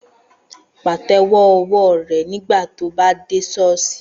Pàtẹ́wọ́ ọwọ́ rẹ nígbà tí o bá dé ṣọ́ọ̀ṣì